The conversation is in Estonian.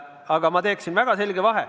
Aga ma teeksin väga selge vahe.